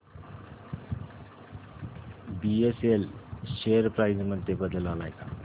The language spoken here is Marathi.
बीएसएल शेअर प्राइस मध्ये बदल आलाय का